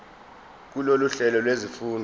kulolu hlelo lwezifundo